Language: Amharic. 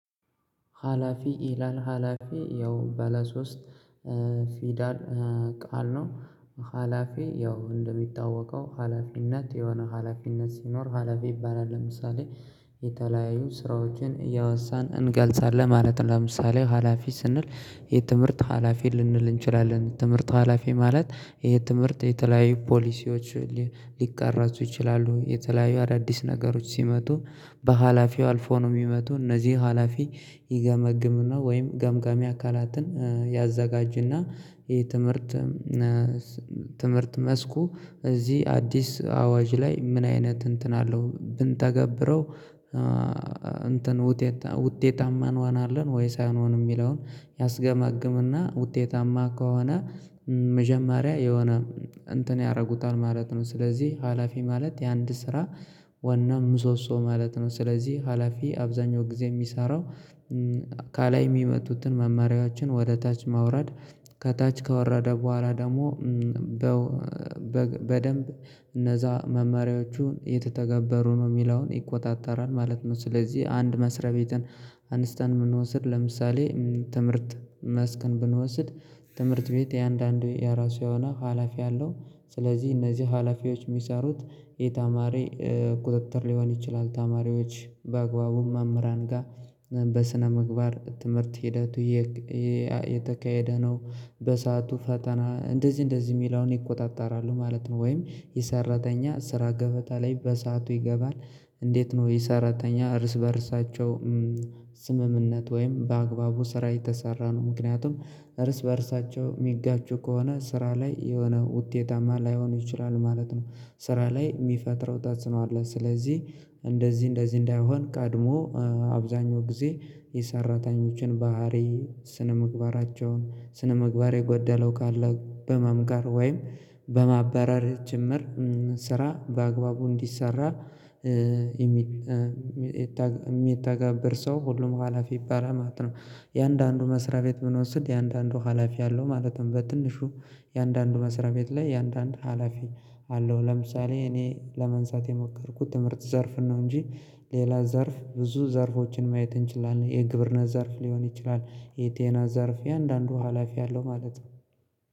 ሀላፊ ይላል ሀላፊ ያው በለሦስት ፊዳል ቃል ነው። ሀላፊ ያው እንደሚታወቀው ሀላፊነት የሆነ ሀላፊነት ሲኖር ሀላፊ ይባላል ለምሳሌ ስራዎችን እያወሳን እንገልጻለን ማለት ነው። ለምሳሌ ሀላፊ ስንል የትምህርት ሀላፊ ልንል እንችላለን ትምህርት ሀላፊ ማለት ይሄ ትምህርት የተለያዩ ፖሊሲዎች ሊቃረጹ ይችላሉ። የተለያዩ አዳዲስ ነገሮች ሲመጡ በሀላፊው አልፎ ነው የሚመጡ እነዚህ ሀላፊ ይገመግምና ወይም ገምገሚ አካላትን ያዘጋጅና ይሄ ትምህርት ትምህርት መስኩ እዚህ አዲስ አዋጅ ላይ ምን አይነት እንትን አለው? ብንተገብረው እንትን ውጤት ውጤታማ እንሆናለን ወይስ አንሆንም የሚለውን ያስገማግምና ውጤታማ ከሆነ መጀመሪያ የሆነ እንትን ያደርጉታል ማለት ነው። ስለዚህ ሀላፊ ማለት የአንድ ስራ ዋና ምሶሶ ማለት ነው። ስለዚህ ሀላፊ አብዛኛው ጊዜ የሚሰራው የሚመጡትን መመሪያዎችን ወደ ታች ማውረድ ከታች ካወራደ በኋላ ደግሞ በ በደንብ እነዛ መመሪያዎቹን የተተገበሩ ነው የሚለውን ይቆጣጠራል ማለት ነው። ስለዚህ አንድ መስሪያ ቤትን አንስተን ብንወስድ ለምሳሌ ትምህርት መስክን ብንወስድ ትምህርት ቤት የአንዳንድ የራሱ የሆነ ሀላፊ አለው ስለዚህ እነዚህ ሀላፊዎች የሚሰሩት የተማሪ ቁጥጥር ሊሆን ይችላል። ተማሪዎች በአግባቡ መምራን ጋር በስነምግባር ትምህርት ሂደቱ የተካሄደ ነው በሰአቱ ፈተና እንደዚህ እንደዚህ የሚለውን ይቆጣጠራሉ ማለት ነው። ወይም የሰራተኛ ስራ ገበታ ላይ በሰአቱ ይገባል እንዴት ነው? የሰራተኛ እርስ በእርሳቸው ስምምነት ወይም በአግባቡ ስራ የተሰራ ነው ምክንያቱም እርስ በእርሳቸው የሚጋጩ ከሆነ ስራ ላይ የሆነ ውጤታማ ላይሆኑ ይችላሉ ማለት ነው። ስራ ላይ የሚፈጥረው ተጽዕኖ አለ። ስለዚህ እንደዚህ እንደዚህ እንዳይሆን ቀድሞ አብዛኛው ጊዜ የሰራተኞችን ባህሪ ስነምግባራቸውን ስነምግባር የጎደለው ካለ በመምከር ወይም በማባነር ጭምር ስራ በአግባቡ እንዲሰራ የሚተገብር ሰው ሁሉም ሀላፊ ይባላል ማለት ነው። የአንዳንዱ መስሪያ ቤት ምን ወስድ የአንዳንዱ ሀላፊ አለው ማለትም በትንሹ የአንዳንዱ መስሪያ ቤት ላይ የአንዳንድ ሀላፊ አለው ለምሳሌ እኔ ለማንሳት የሞከርኩት ትምህርት ዘርፍ ነው እንጂ ሌላ ዘርፍ ብዙ ዘርፎችን ማየት እንችላለን የግብርና ዘርፍ ሊሆን ይችላል። የጤና አዛርፍ የአንዳንዱ ሀላፊ አለው ማለት ነው።